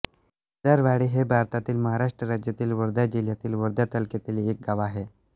केदारवाडी हे भारतातील महाराष्ट्र राज्यातील वर्धा जिल्ह्यातील वर्धा तालुक्यातील एक गाव आहे